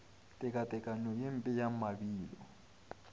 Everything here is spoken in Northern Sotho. tekatekanyo ye mpe ya mabilo